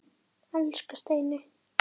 Elsku Steini.